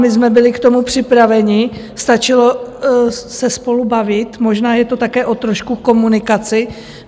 My jsme byli k tomu připraveni, stačilo se spolu bavit, možná je to také trošku o komunikaci.